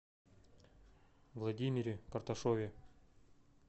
владимире карташове